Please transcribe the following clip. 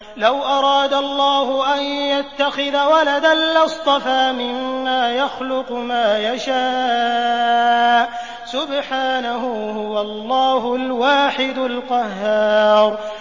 لَّوْ أَرَادَ اللَّهُ أَن يَتَّخِذَ وَلَدًا لَّاصْطَفَىٰ مِمَّا يَخْلُقُ مَا يَشَاءُ ۚ سُبْحَانَهُ ۖ هُوَ اللَّهُ الْوَاحِدُ الْقَهَّارُ